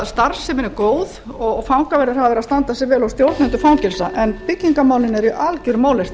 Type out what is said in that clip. starfsemin sé góð og fangaverðir hafa verið að standa sig vel og stjórnendur fangelsa en byggingarmálin eru í algjörum ólestri